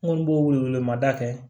N kɔni b'o wele wele mada kɛ